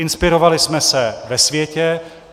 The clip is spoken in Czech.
Inspirovali jsme se ve světě.